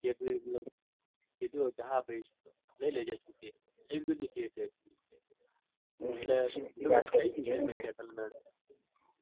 મતલબ કીધું હ કે હા ભાઈ લઇ લેજે છૂટી. એમ કીધું શેઠે. હમ એટલે થઇ ગયું હ settlement